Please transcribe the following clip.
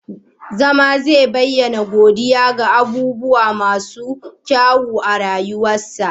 zama zai bayyana godiya ga abubuwa masu kyau a rayuwarsa